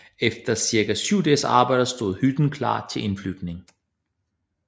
Efter cirka syv dages arbejde stod hytten klar til indflytning